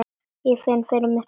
Ég fann fyrir mikilli skömm.